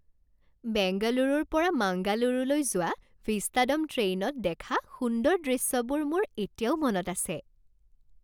বেংগালুৰুৰ পৰা মাংগালুৰুলৈ যোৱা ভিষ্টাড'ম ট্ৰেইনত দেখা সুন্দৰ দৃশ্যবোৰ মোৰ এতিয়াও মনত আছে।